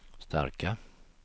starka